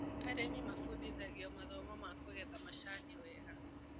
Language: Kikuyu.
Arĩmi mabundithagio mathomo ma kũgetha macani wega.